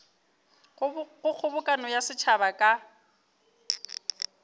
go kgobokano ya setšhaba ka